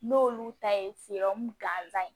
N'olu ta ye gansan ye